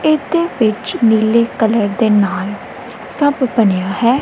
ਇਹਦੇ ਵਿੱਚ ਨੀਲੇ ਕਲਰ ਦੇ ਨਾਲ ਸਭ ਬਣਿਆ ਹੈ।